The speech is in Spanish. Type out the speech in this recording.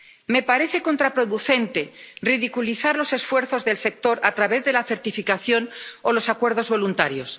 Me parece contraproducente ridiculizar los esfuerzos del sector a través de la certificación o los acuerdos voluntarios.